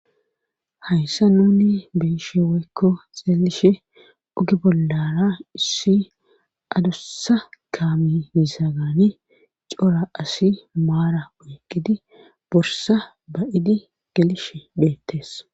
Hayssa nuni be'ishshe woykko xeelishshin oge bollara issi adussa kaami mizagani cora asi maara oyqqidi borsa ba'oddi gelishshe deettes